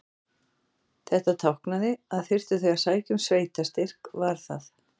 Þetta táknaði, að þyrftu þau að sækja um sveitarstyrk var það